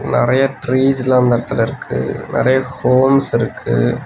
நறையா ட்ரீஸ்லா அந்த எடத்துல இர்க்கு நறையா ஹோம்ஸ் இர்க்கு.